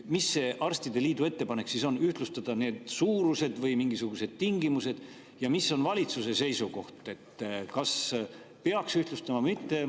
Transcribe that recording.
Mis see arstide liidu ettepanek siis on, kas ühtlustada need suurused või mingisugused tingimused, ja mis on valitsuse seisukoht, kas peaks ühtlustama või mitte?